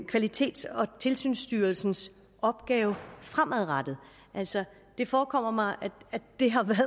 kvalitets og tilsynsstyrelsens opgave fremadrettet altså det forekommer mig at det